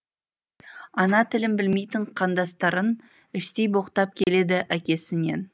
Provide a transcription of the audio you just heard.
ана тілін білмейтін қандастарын іштей боқтап келеді әкесінен